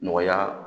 Nɔgɔya